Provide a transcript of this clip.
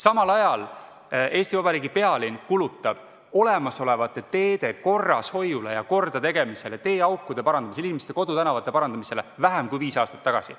Samal ajal kulutab Eesti Vabariigi pealinn olemasolevate teede korrashoiule ja kordategemisele, teeaukude parandamisele, inimeste kodutänavate parandamisele vähem kui viis aastat tagasi.